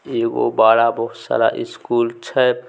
एगो बड़ा बहुत सारा स्कूल छै।